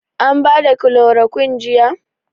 An bada kilorokun jiya?